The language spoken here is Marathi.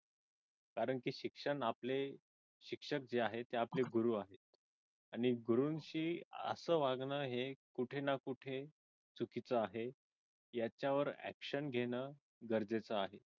कारण की शिक्षक आपले शिक्षक जे आहेत ते आपले गुरू आहेत आणि गुरूंशी असं वागणं हे कुठे ना कुठे चुकीचं आहे याच्यावर action घेण गरजेचे आहे.